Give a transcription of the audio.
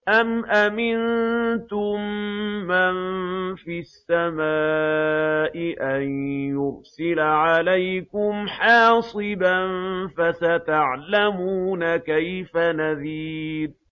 أَمْ أَمِنتُم مَّن فِي السَّمَاءِ أَن يُرْسِلَ عَلَيْكُمْ حَاصِبًا ۖ فَسَتَعْلَمُونَ كَيْفَ نَذِيرِ